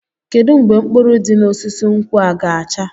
Kedu mgbe mkpụrụ di n'osisi nkwụ a ga-acha?